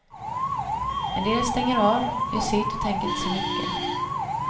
En del stänger av, gör sitt och tänker inte så mycket.